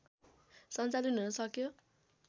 सञ्चालन हुन सक्यो